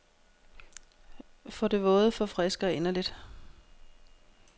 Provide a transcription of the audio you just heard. For det våde forfrisker inderligt.